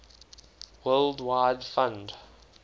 world wide fund